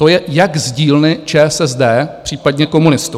To je jak z dílny ČSSD, případně komunistů.